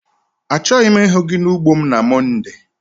Achọghị m ịhụ gị n'ugbo m na Mọnde!